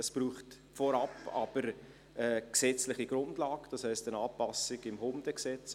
Es braucht vorab aber eine gesetzliche Grundlage, das heisst eine Anpassung im Hundegesetz.